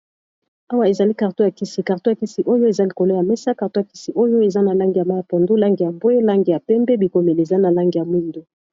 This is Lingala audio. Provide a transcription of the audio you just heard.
awa ezali karteou ya kisi karteou ya kisi oyo eza likolo ya mesa kartou ya kisi oyo eza na langi ya ma ya pondo lange ya mbwe langi ya pembe bikomeli eza na langi ya mwindo